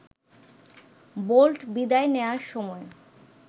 bolt বিদায় নেয়ার সময়